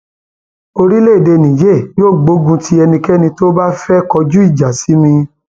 orílẹèdè niger yóò gbógun ti ẹnikẹni tó bá fẹẹ kọjú ìjà sí mi